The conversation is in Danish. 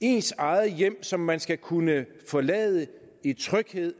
ens eget hjem som man skal kunne forlade i tryghed